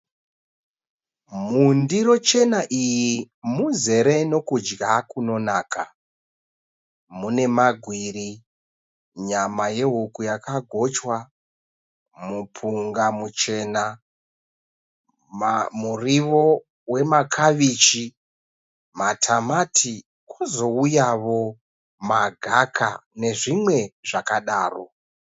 Mundiro chena iyi muzere nekudya kunonaka. Mune magwiri, nyama yehuku yakagochwa, mupunga muchena, muriwo wemakabichi matamati, kozouyawo magaka nezvimwe zvakadaro.